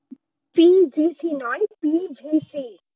PGC নয় PVC